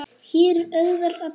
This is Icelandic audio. Hér er auðvelt að týnast.